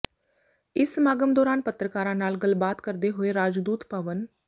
ਇਸ ਸਮਾਗਮ ਦੌਰਾਨ ਪੱਤਰਕਾਰਾਂ ਨਾਲ ਗੱਲਬਾਤ ਕਰਦੇ ਹੋਏ ਰਾਜਦੂਤ ਪਵਨ